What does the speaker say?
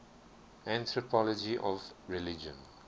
anthropology of religion